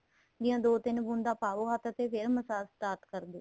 ਦੀਆਂ ਦੋ ਤਿੰਨ ਬੂੰਦਾ ਪਾਹੋ ਹੱਥ ਤੇ ਫ਼ੇਰ massage start ਕਰਦੋ